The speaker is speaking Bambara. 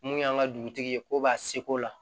Mun y'an ka dugutigi ye ko b'a seko la